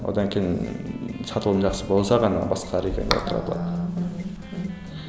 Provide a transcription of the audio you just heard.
одан кейін ыыы сатылым жақсы болса ғана басқа регионға таратылады